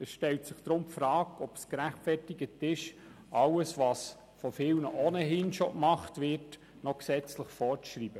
Deshalb stellt sich die Frage, ob es gerechtfertigt ist, all das, was von vielen ohnehin schon gemacht wird, noch gesetzlich vorzuschreiben.